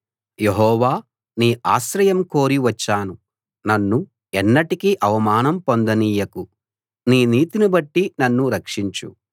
యెహోవా నీ ఆశ్రయం కోరి వచ్చాను నన్ను ఎన్నటికీ అవమానం పొందనీయకు నీ నీతిని బట్టి నన్ను రక్షించు